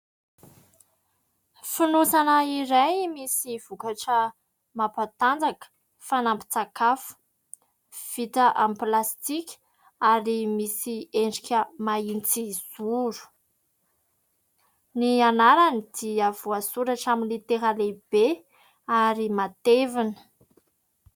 Fonosana iray misy vokatra mampatanjaka, fanampin-tsakafo. Vita amin'ny plastika, ary misy endrika mahitsizoro. Ny anarany dia voasoratra amin'ny litera lehibe ary matevina.